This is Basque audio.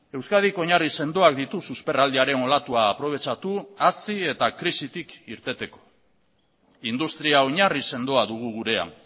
euskadik oinarri sendoak ditu susperraldiaren olatua aprobetxatu hazi eta krisitik irteteko industria oinarri sendoa dugu gurean